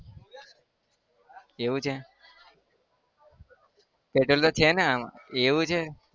એવું છે? પેટ્રોલ તો છે ન? એવું છે